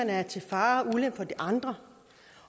er til fare og ulempe for de andre